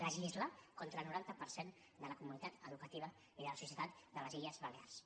legislar contra el noranta per cent de la comunitat educativa i de la societat de les illes balears